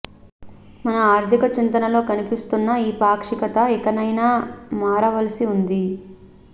మన ఆర్థిక చింతనలో కనిపిస్తున్న ఈ పాక్షికత ఇకనైనా మారవలసి ఉంది